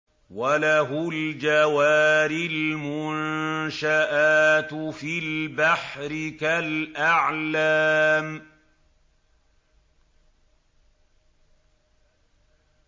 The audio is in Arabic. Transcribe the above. وَلَهُ الْجَوَارِ الْمُنشَآتُ فِي الْبَحْرِ كَالْأَعْلَامِ